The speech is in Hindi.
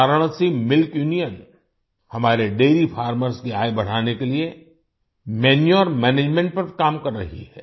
वाराणसी मिल्क यूनियन हमारे डैरी फार्मर्स की आय बढ़ाने के लिए मैन्यूर मैनेजमेंट पर काम कर रही है